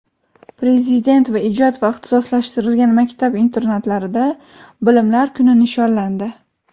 Prezident va ijod va ixtisoslashtirilgan maktab internatlarida "Bilimlar kuni" nishonlandi.